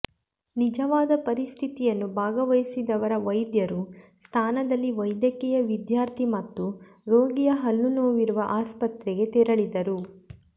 ನಿಜವಾದ ಪರಿಸ್ಥಿತಿಯನ್ನು ಭಾಗವಹಿಸಿದವರ ವೈದ್ಯರು ಸ್ಥಾನದಲ್ಲಿ ವೈದ್ಯಕೀಯ ವಿದ್ಯಾರ್ಥಿ ಮತ್ತು ರೋಗಿಯ ಹಲ್ಲುನೋವಿರುವ ಆಸ್ಪತ್ರೆಗೆ ತೆರಳಿದರು